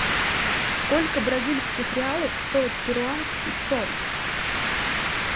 сколько бразильских реалов стоит перуанский соль